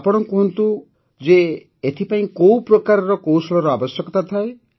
ଆପଣ କହନ୍ତୁ ଯେ ଏଥିପାଇଁ କୋଉ ପ୍ରକାରର କୌଶଳର ଆବଶ୍ୟକତା ଥାଏ